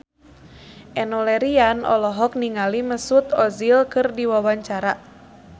Enno Lerian olohok ningali Mesut Ozil keur diwawancara